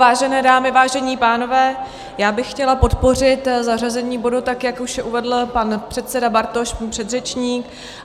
Vážené dámy, vážení pánové, já bych chtěla podpořit zařazení bodu, tak jak už uvedl pan předseda Bartoš, můj předřečník.